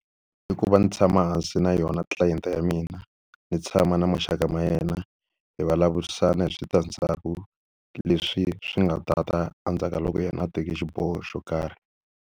I ku va ndzi tshama hansi na yona client-e ya mina, ni tshama na maxaka ma yena, hi vulavurisana hi switandzhaku leswi swi nga ta ta endzhaku ka loko yena a teke xiboho xo karhi.